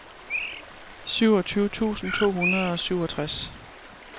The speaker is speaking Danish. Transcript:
syvogtyve tusind to hundrede og syvogtres